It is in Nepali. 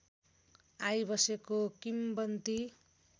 आई बसेको किम्बन्ती